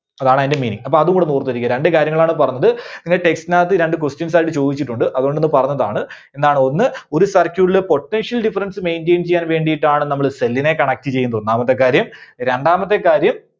അതാണ് അതിന്റെ meaning. അപ്പോ അതുകൂടെ ഒന്ന് ഓർത്തിരിക്കുക രണ്ട് കാര്യങ്ങൾ ആണ് പറഞ്ഞത് പിന്നെ text ന് അകത്ത് രണ്ട് questions അതിൽ ചോദിച്ചിട്ടുണ്ട് അതുകൊണ്ട് ഒന്ന് പറഞ്ഞതാണ്. എന്താണ്? ഒന്ന് ഒരു circuit ലെ potential difference maintain ചെയ്യാൻവേണ്ടിയിട്ടാണ് നമ്മള് cell നെ connect ചെയ്യുന്നത് ഒന്നാമത്തെ കാര്യം. രണ്ടാമത്തെ കാര്യം